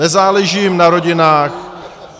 Nezáleží jim na rodinách.